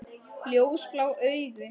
Ljósblá augu.